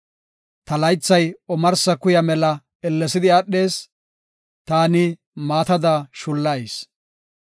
Ta laythay omarsa kuya mela ellesidi aadhees; taani maatada shullayis.